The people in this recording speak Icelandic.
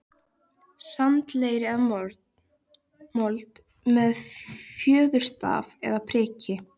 sand, leir eða mold, með fjöðurstaf eða priki.